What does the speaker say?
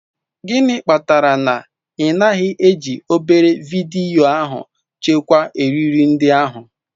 Gịnị kpatara na ị naghị eji obere vidiyo ahụ chekwaa eriri ndị ahụ?